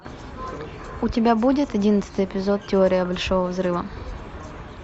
у тебя будет одиннадцатый эпизод теория большого взрыва